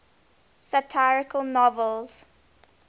satirical novels